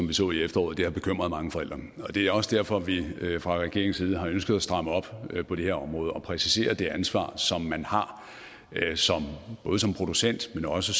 vi så i efteråret har bekymret mange forældre det er også derfor at vi fra regeringens side har ønsket at stramme op på det her område og præcisere det ansvar som man har både som producent men også